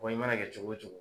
Wa i mana kɛ cogo o cogo.